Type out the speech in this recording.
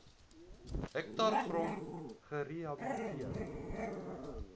hektaar grond gerehabiliteer